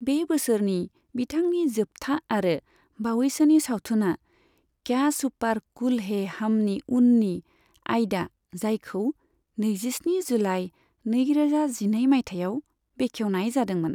बे बोसोरनि बिथांनि जोबथा आरो बावैसोनि सावथुना "क्या सुपार कूल है हम"नि उननि आइदा, जायखौ नैजिस्नि जुलाइ नैरोजा जिनै माइथायाव बेखेवनाय जादोंमोन।